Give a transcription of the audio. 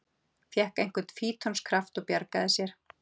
Fékk einhvern fítonskraft og bjargaði sér